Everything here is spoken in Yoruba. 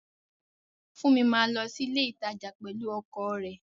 Funmi máa lọ sí ilé ìtajà pẹ̀lú ọkọ̀ rẹ̀